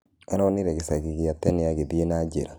Aronĩre gĩcagĩ gĩa tene agĩthĩe na njĩra.